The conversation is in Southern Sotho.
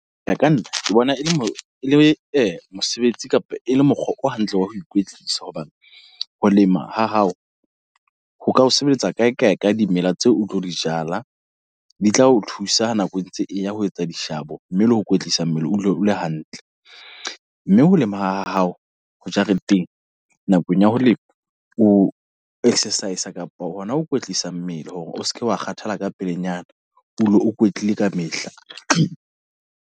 Ho ya ka nna ke bona e le mosebetsi kapa e le mokgwa o hantle wa ho ikwetlisa. Hobane ho lema ha hao, ho ka ho sebeletsa kae kae ka dimela tseo o tlo di jala. Di tla o thusa nako e ntse eya ho etsa dishabo mme le ho ho kwetlisa mmele o dule o le hantle. Mme ho lema ha hao ho jareteng nakong ya ho lema o exercise kapa hona ho kwetlisa mmele hore o seke wa kgathala ka pelenyana. O dule o kwetlile kamehla.